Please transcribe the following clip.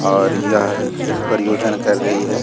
और यह एक परियोजन कर रही हैं।